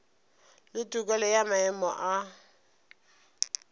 le tokelo ya maemo a